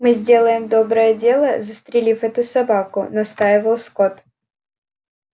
мы сделаем доброе дело застрелив эту собаку настаивал скотт